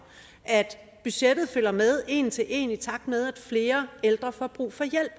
at budgettet følger med en til en i takt med at flere ældre får brug for hjælp